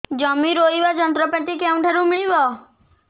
ଜମି ରୋଇବା ଯନ୍ତ୍ରପାତି କେଉଁଠାରୁ ମିଳିବ